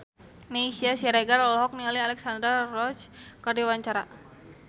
Meisya Siregar olohok ningali Alexandra Roach keur diwawancara